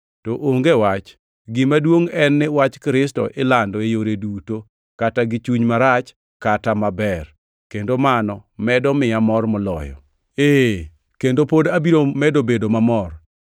To onge wach! Gima duongʼ en ni wach Kristo ilando e yore duto; kata gi chuny marach, kata maber, kendo mano medo miya mor moloyo. Ee, kendo pod abiro medo bedo mamor,